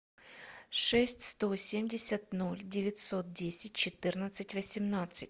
шесть сто семьдесят ноль девятьсот десять четырнадцать восемнадцать